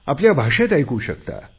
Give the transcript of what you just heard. आपल्या भाषेत ऐकू शकता